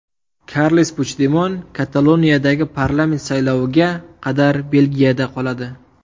Karles Puchdemon Kataloniyadagi parlament sayloviga qadar Belgiyada qoladi.